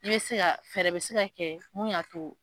I bɛ se ka, fɛɛrɛ bɛ se ka kɛ mun y'a to.